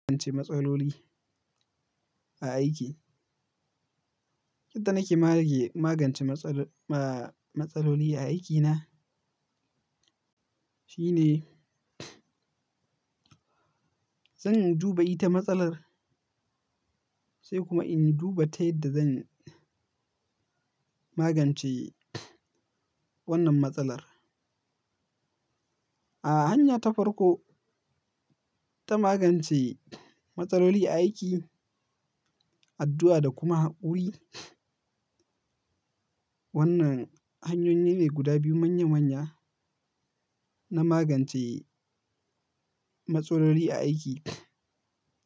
Matsaloli a aiki. Yanda nake mage-magance matsaloli aikina shine zan in duba ita matsalar, sai kuma in duba ta yadda zan magance wannan matsalar. A hanya ta farko ta magance matsali a aiki, addu'a da kuma haƙuri. Wannan hanyoyi ne guda biyu manya manya na magance matsaloli a aiki.